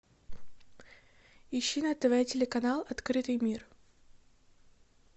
ищи на тв телеканал открытый мир